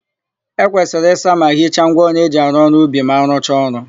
E kwesịrị ịsa ma hicha ngwaọrụ eji arụ ọrụ ubi ma a rụcha ọrụ.